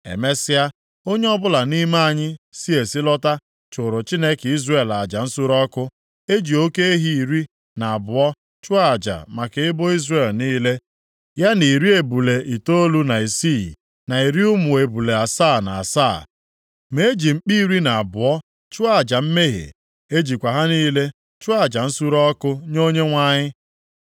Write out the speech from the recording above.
Emesịa, onye ọbụla nʼime anyị si esi lọta chụụrụ Chineke Izrel aja nsure ọkụ. E ji oke ehi iri na abụọ chụọ aja maka ebo Izrel niile, ya na iri ebule itoolu na isii, na iri ụmụ ebule asaa na asaa. Ma e ji mkpi iri na abụọ chụọ aja mmehie. E jichakwa ha niile chụọ aja nsure ọkụ nye Onyenwe anyị.